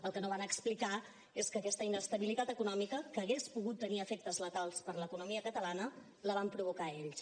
el que no van explicar és que aquesta inestabilitat econòmica que hagués pogut tenir efectes letals per a l’economia catalana la van provocar ells